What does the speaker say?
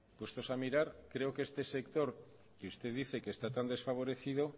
puestos a mirar creo que este sector que usted dice que está tan desfavorecido